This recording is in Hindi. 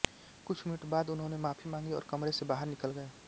कुछ मिनट बाद उन्होंने माफ़ी मांगी और कमरे से बाहर निकल गए